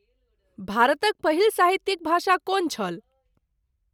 भारतक पहिल साहित्यिक भाषा कोन छल?